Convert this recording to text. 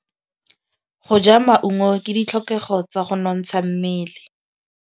Go ja maungo ke ditlhokegô tsa go nontsha mmele.